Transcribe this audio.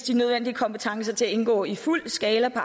de nødvendige kompetencer til at indgå i fuld skala på